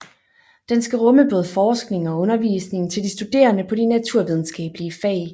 Den skal rumme både forskning og undervisning til de studerende på de naturvidenskabelige fag